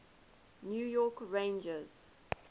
new york rangers